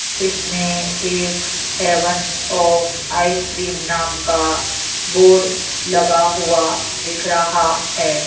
इसमें एक heaven of ice cream नाम का बोर्ड लगा हुआ दिख रहा है।